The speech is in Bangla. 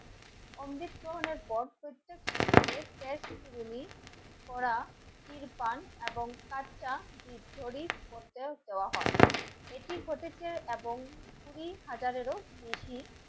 অমৃত মোহনার বয়স হয়েছে ইরফান এবং কাঠটা দেওয়া হয় এটি ঘটেছে এবং কুঁড়ি হাজারেরও বেশি